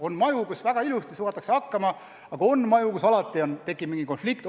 On maju, kus väga ilusti saadakse hakkama, aga on ka maju, kus alalõpmata tekib konflikte.